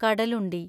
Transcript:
Kadalundi